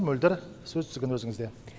мөлдір сөз тізгіні өзіңізде